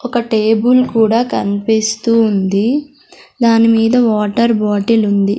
ఒక టేబుల్ కూడా కన్పిస్తూ ఉంది దాని మీద వాటర్ బాటిలుంది .